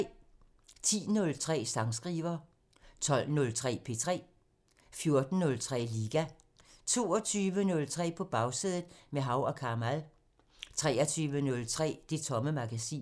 10:03: Sangskriver 12:03: P3 14:03: Liga 22:03: På Bagsædet – med Hav & Kamal 23:03: Det Tomme Magasin